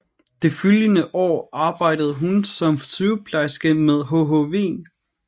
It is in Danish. De følgende år arbejdede hun som sygeplejerske ved hhv